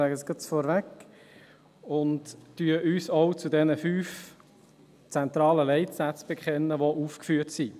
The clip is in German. Wir nehmen davon Kenntnis und bekennen uns auch zu den fünf zentralen Leitsätzen, die aufgeführt sind.